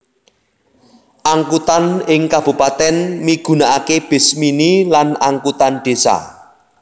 Angkutan ing kabupatèn migunaaké bis mini lan angkutan désa